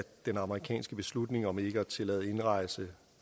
den amerikanske beslutning om ikke at tillade indrejse